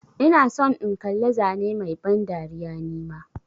Ina son in kalla zane Mai ban dariya nima.